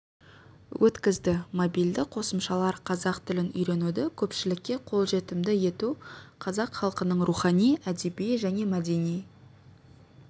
өткізді мобильді қосымшалар қазақ тілін үйренуді көпшілікке қолжетімді ету қазақ халқының рухани әдеби және мәдени